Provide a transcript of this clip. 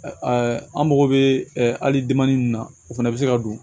an mago bɛ hali min na o fana bɛ se ka don